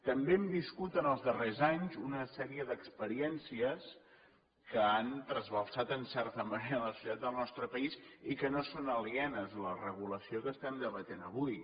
també hem viscut els darrers anys una sèrie d’experiències que han trasbalsat en certa manera la societat del nostre país i que no són alienes a la regulació que estem debatent avui